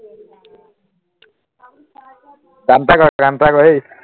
গান এটা গোৱা গান এটা গোৱা হে